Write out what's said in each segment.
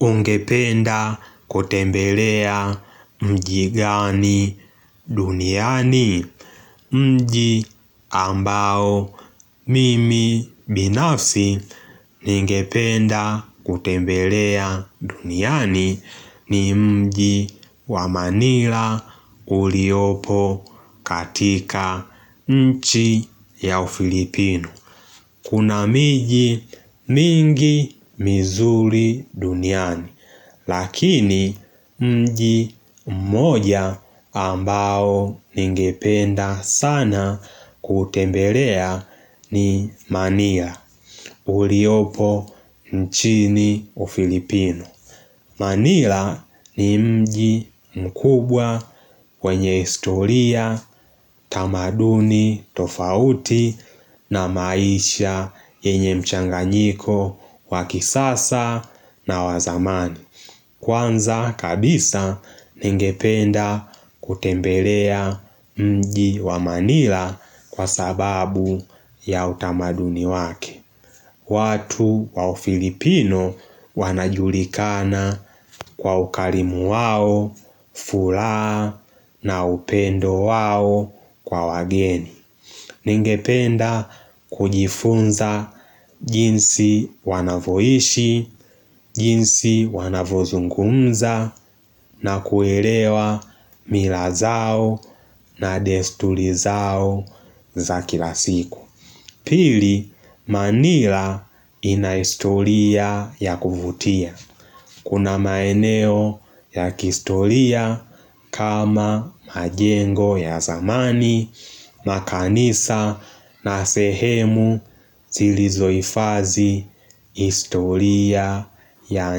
Ungependa kutembelea mji gani duniani? Mji ambao mimi binafsi ningependa kutembelea duniani ni mji wa Manila uliopo katika nchi ya Ufilipino. Kuna miji mingi mizuri duniani. Lakini mji mmoja ambao ningependa sana kutembelea ni Manila. Uliopo nchini Ufilipino. Manila ni mji mkubwa wenye historia tamaduni tofauti na maisha yenye mchanganyiko wa kisasa na wa zamani. Kwanza kabisa ningependa kutembelea mji wa manila kwa sababu ya utamaduni wake. Watu wa Ufilipino wanajulikana kwa ukarimu wao, furaha na upendo wao kwa wageni. Ningependa kujifunza jinsi wanavoishi, jinsi wanavozungumza na kuelewa mila zao na desturi zao za kila siku. Pili, Manila ina historia ya kuvutia. Kuna maeneo ya kihistoria kama majengo ya zamani, makanisa na sehemu zilizohifadhi historia ya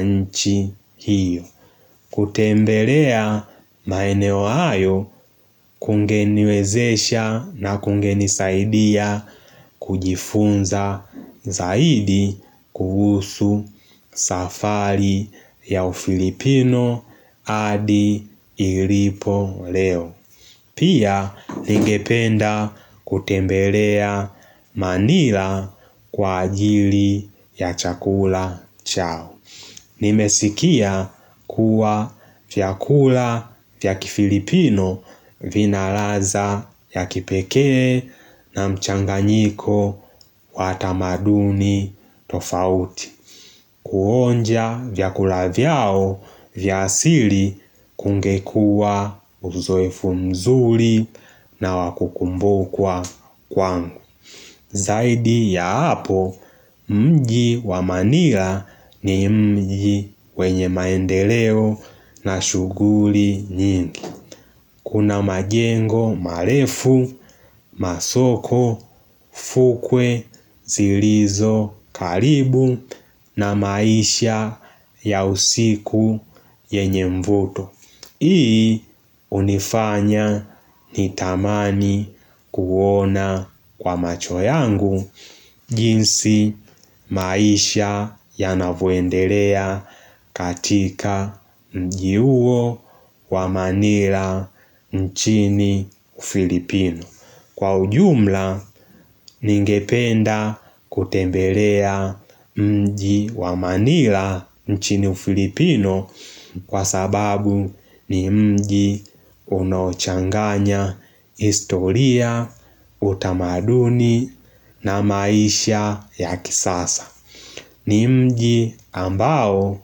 nchi hiyo. Kutembelea maeneo hayo kungeniwezesha na kungenisaidia kujifunza zaidi kuhusu safari ya Ufilipino hadi ilipo leo. Pia ningependa kutembelea Manila kwa ajili ya chakula chao. Nimesikia kuwa vyakula vya kifilipino vina ladha ya kipekee na mchanganyiko wa tamaduni tofauti. Kuonja vyakula vyao vya asili kungekua uzoefu mzuri na wakukumbukwa kwangu. Zaidi ya hapo mji wa Manila ni mji wenye maendeleo na shughuli nyingi. Kuna majengo marefu, masoko, fukwe, zilizo karibu na maisha ya usiku yenye mvuto. Hii hunifanya nitamani kuona kwa macho yangu jinsi maisha yanavoendelea katika mji huo wa Manila nchini Filipino. Kwa ujumla, ningependa kutembelea mji wa Manila nchini Filipino kwa sababu ni mji unaochanganya historia, utamaduni na maisha ya kisasa. Ni mji ambao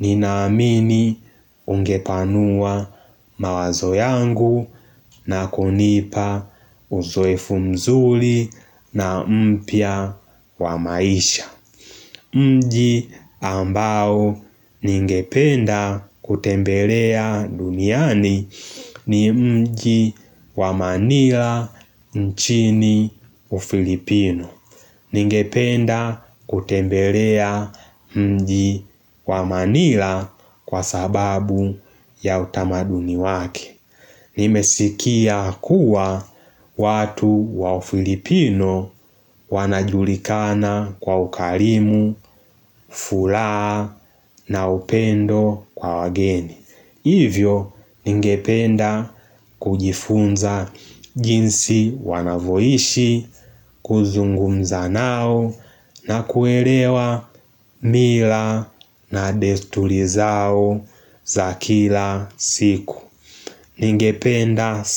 ninaamini ungepanua mawazo yangu na kunipa uzoefu mzuri na mpya wa maisha. Mji ambao ningependa kutembelea duniani ni mji wa Manila nchini Ufilipino. Ningependa kutembelea mji wa Manila kwa sababu ya utamaduni wake. Nimesikia kuwa watu wa Ufilipino wanajulikana kwa ukarimu, furaha na upendo kwa wageni. Hivyo ningependa kujifunza jinsi wanavoishi, kuzungumza nao na kuelewa mila na desturi zao za kila siku. Ningependa sa.